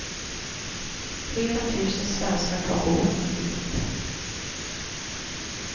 Flera tusen svenskar tar båten dit.